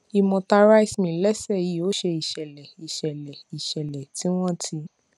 imota rice mill lẹsẹ yìí ó ṣe ìṣẹlẹ ìṣẹlẹ ìṣẹlẹ tí wọn ti